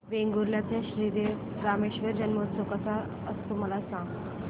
वेंगुर्ल्या चा श्री देव रामेश्वर जत्रौत्सव कसा असतो मला सांग